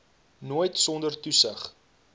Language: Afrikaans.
nooit sonder toesig